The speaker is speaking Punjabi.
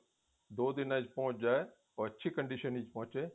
ਦੋ ਦਿਨਾ ਚ ਪਹੁੰਚ ਜਾਏ ਉਹ ਅੱਛੀ condition ਵਿੱਚ ਪਹੁੰਚੇ